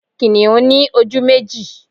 Kìnìún ní ojú méjì